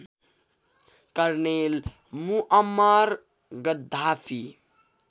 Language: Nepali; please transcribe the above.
colonel Muammar Gaddafi